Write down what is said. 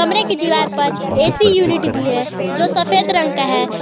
कमरे की दीवार पर ए_सी यूनिट भी है जो सफेद रंग का है।